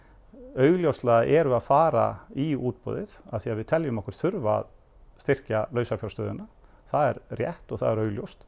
augljóslega erum við að fara í útboðið af því að við teljum okkur þurfa að styrkja lausafjárstöðuna það er rétt og það er augljóst